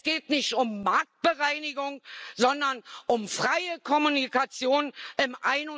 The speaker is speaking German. Es geht nicht um Marktbereinigung, sondern um freie Kommunikation